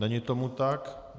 Není tomu tak.